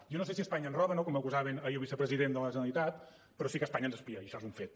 jo no sé si espanya ens roba no como acusaven ahir al vicepresident de la generalitat però sí que espanya ens espia i això és un fet